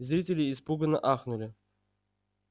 зрители испуганно ахнули